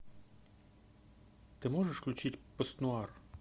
ты можешь включить постнуар